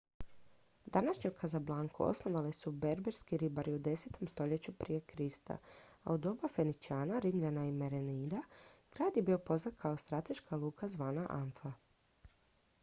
današnju casablancu osnovali su berberski ribari u 10. stoljeću prije krista a u doba feničana rimljana i merenida grad je bio poznat kao strateška luka zvana anfa